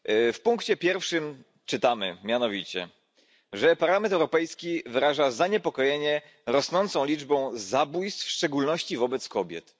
W punkcie pierwszym czytamy, mianowicie, że Parlament Europejski wyraża zaniepokojenie rosnącą liczbą zabójstw, w szczególności wobec kobiet.